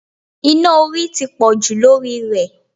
Iná orí ti pọ̀jù lórí ì rẹ̀